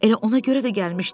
Elə ona görə də gəlmişdim.